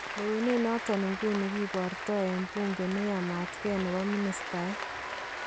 Lewenet noton inguni kiboorto en buunke neyamatkee nebo ministeet